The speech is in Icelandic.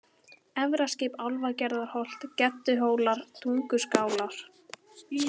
Efraskip, Álfgerðarholt, Gedduhólar, Tunguskálar